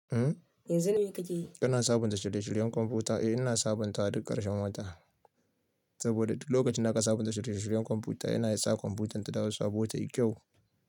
Yanzu mai kake yi? Ina sabunta shirye shiryen kwamfuta. Eh ina sabunta wa duk karshen wata. Saboda duk lokacin da aka sabunta shude shuryan kwamfuta yana sa kwamfutar ta dawo su aɓota yi kyau.